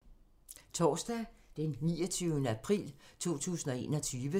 Torsdag d. 29. april 2021